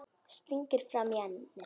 Stingir fram í ennið.